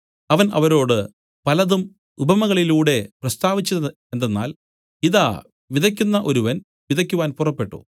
അവൻ അവരോട് പലതും ഉപമകളിലൂടെ പ്രസ്താവിച്ചതെന്തെന്നാൽ ഇതാ വിതയ്ക്കുന്ന ഒരുവൻ വിതയ്ക്കുവാൻ പുറപ്പെട്ടു